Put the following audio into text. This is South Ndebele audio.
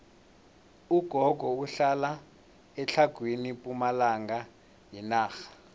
ugogo uhlala etlhagwini pumalanga yenarha